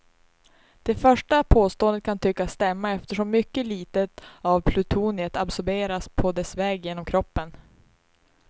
Det första påståendet kan tyckas stämma eftersom mycket litet av plutoniet absorberas på dess väg genom kroppen.